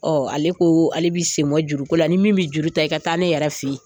Ɔ ale ko ale b'i senbɔ juruko la ni min bɛ juru ta i ka taa ne yɛrɛ fɛ yen